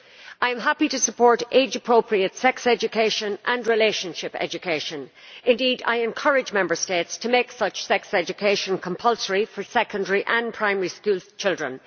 I am happy to support age appropriate sex education and relationship education indeed, I encourage Member States to make such sex education compulsory for secondary and primary school children.